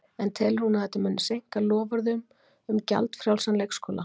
En telur hún að þetta muni seinka loforðum um gjaldfrjálsan leikskóla?